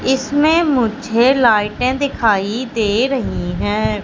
इसमें मुझे लाईटे दिखाई दे रही है।